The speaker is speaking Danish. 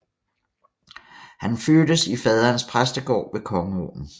Han fødtes i faderens præstegård ved Kongeåen